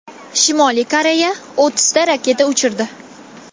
Shimoliy Koreya o‘ttizta raketa uchirdi.